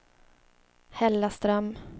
Hällaström